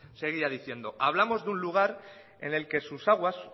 seguía diciendo hablamos de un lugar en el que sus aguas